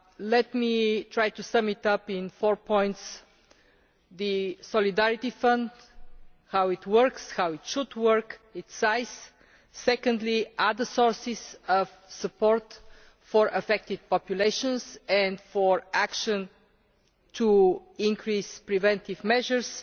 Let me try to sum up in four points. Firstly, the Solidarity Fund how it works, how it should work and its size. Secondly, other sources of support for affected populations and for action to increase preventive measures.